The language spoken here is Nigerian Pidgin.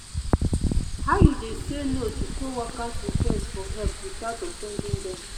how you dey say no to coworkers' request for help without offending dem?